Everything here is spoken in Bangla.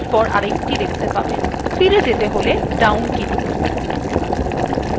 ফিরে যেতে হলে down key টিপুন